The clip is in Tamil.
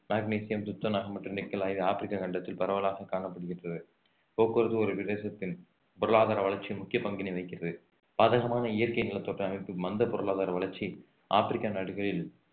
மக்னீசியம் துத்தநாகம் மற்றும் நிக்கல் ஆகியவை ஆப்ரிக்கா கண்டத்தில் பரவலாக காணப்படுகின்றது போக்குவரத்து ஒரு பிரதேசத்தின் பொருளாதார வளர்ச்சி முக்கிய பங்கினை வகிக்கிறது பாதகமான இயற்கை நிலத்தோற்ற அமைப்பு மந்த பொருளாதார வளர்ச்சி ஆப்ரிக்கா நாடுகளில்